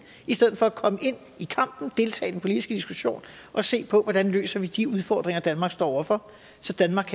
i stedet for at komme ind i kampen deltage i den politiske diskussion og se på hvordan vi løser de udfordringer danmark står over for så danmark